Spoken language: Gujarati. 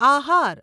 આહાર